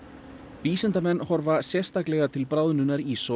vísindamenn horfa sérstaklega til bráðnunar íss og